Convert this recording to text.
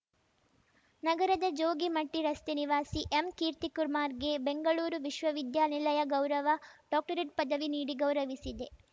ನಗರದ ಜೋಗಿಮಟ್ಟಿರಸ್ತೆ ನಿವಾಸಿ ಎಂಕೀರ್ತಿಕುರ್ಮಾಗೆ ಬೆಂಗಳೂರು ವಿಶ್ವವಿದ್ಯಾನಿಲಯ ಗೌರವ ಡಾಕ್ಟರೇಟ್‌ ಪದವಿ ನೀಡಿ ಗೌರವಿಸಿದೆ